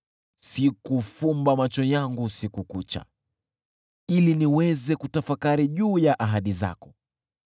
Sikufumba macho yangu usiku kucha, ili niweze kutafakari juu ya ahadi zako.